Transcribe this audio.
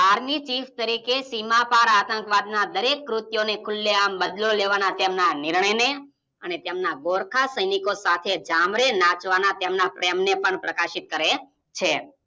Army chief તરીકે સીમા પાર આંતકવાદના દરેક કૃત્યોને ખુલ્લેઆમ બદલો લેવા ના તેમના નિર્ણયને અને તેમના ગોરખા સેનિકો સાથે જામારે નાચવાના તેમના પ્રેમને પણ પ્રકાશિત કરે છે.